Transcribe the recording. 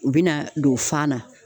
U be na don fan na